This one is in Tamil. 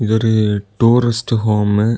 இது ஒரு டூரிஸ்டு ஹோமு .